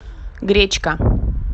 гречка